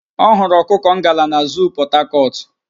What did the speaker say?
Ọ hụrụ ọkụkọ ngala na zuu Pọtakọtụ